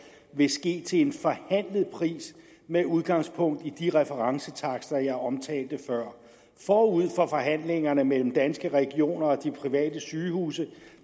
vil ske til en forhandlet pris med udgangspunkt i de referencetakster jeg omtalte før forud for forhandlingerne mellem danske regioner og de private sygehuse